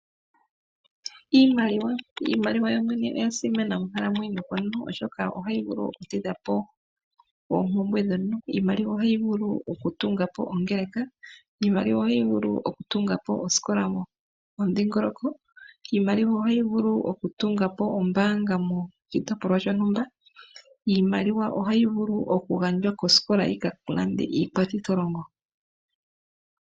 Iimaliwa yo mwene oya simana mokukalamweyo komuntu oshoka ohayi vulu okutidha po oompumbwe dhomuntu. Iimaliwa ohayi vulu okutunga po ongeleka, iimaliwa ohayi vulu okutunga po osikola momudhingoloko. Iimaliwa ohayi vulu okutunga po ombaanga moshitopolwa shontumba, iimaliwa ohayi vulu okugandjwa kosikola yi ka lande iikwathitholongo.